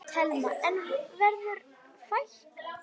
Telma: En verður fækkað?